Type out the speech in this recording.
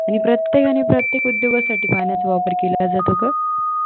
आणि प्रत्येकाने प्रत्येक उद्योगासाठी पाण्याचा वापर केला जातो ग